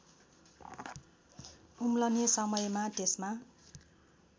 उम्लने समयमा त्यसमा